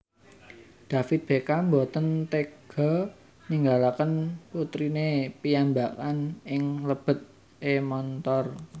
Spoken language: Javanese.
David Beckham mboten tega ninggalaken putrine piyambakan ing lebet e montor